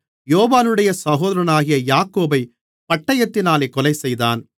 யோவானுடைய சகோதரனாகிய யாக்கோபைப் பட்டயத்தினாலே கொலைசெய்தான்